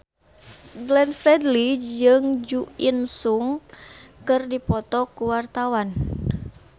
Glenn Fredly jeung Jo In Sung keur dipoto ku wartawan